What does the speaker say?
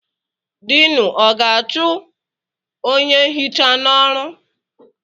Diinu ọ ga-achụ onye nhicha n'ọrụ?